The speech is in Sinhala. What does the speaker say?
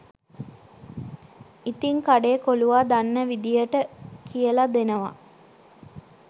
ඉතින් කඩේ කොලුවා දන්නා විදියට කියල දෙනවා